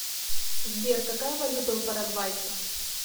сбер какая валюта у парагвайцев